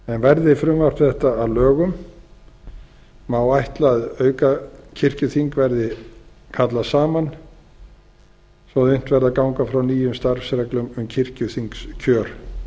verði frumvarp þetta að lögum má ætla að aukakirkjuþing verði kallað saman svo unnt verði að ganga frá nýjum starfsreglum um kirkjuþingskjör